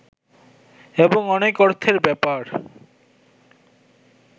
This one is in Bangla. এবং অনেক অর্থের ব্যাপার